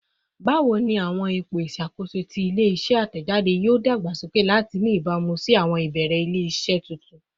Bawo ni awọn ipo iṣakoso ti ile-iṣẹ atẹjade yoo dagbasoke lati ni ibamu si awọn ibeere ile-iṣẹ tuntun?